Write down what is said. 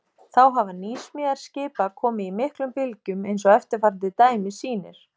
Þá hafa nýsmíðar skipa komið í miklum bylgjum eins og eftirfarandi dæmi sýnir.